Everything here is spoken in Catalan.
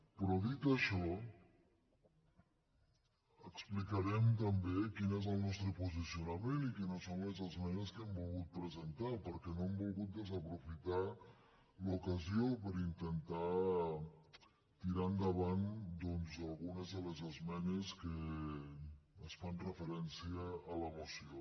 però dit això explicarem també quin és el nostre po·sicionament i quines són les esmenes que hem volgut presentar perquè no hem volgut desaprofitar l’ocasió per intentar tirar endavant doncs algunes de les es·menes que fan referència a la moció